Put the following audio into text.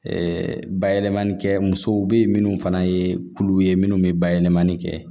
bayɛlɛmani kɛ musow be yen minnu fana ye kulu ye munnu be bayɛlɛmani kɛ